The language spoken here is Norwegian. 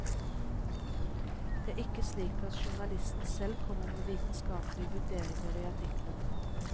Det er ikke slik at journalisten selv kommer med vitenskapelige vurderinger i artikkelen.